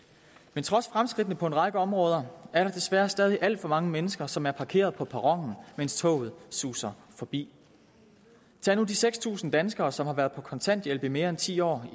men trods fremskridtene på en række områder er der desværre stadig alt for mange mennesker som er parkeret på perronen mens toget suser forbi tag nu de seks tusind danskere som har været på kontanthjælp i mere end ti år